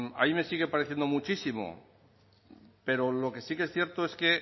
a mí me sigue pareciendo muchísimo pero lo que sí que es cierto es que